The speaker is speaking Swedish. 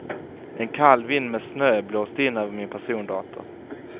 En kall vind med snö blåste in över min persondator.